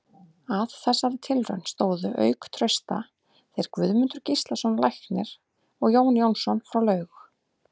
Að þessari tilraun stóðu auk Trausta þeir Guðmundur Gíslason læknir og Jón Jónsson frá Laug.